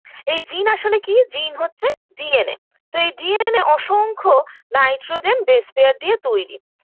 এই জিন আসলে কি জিন হচ্ছে DNA তো এই DNA অসংখ্য nitrogen base pair দিয়ে তৈরী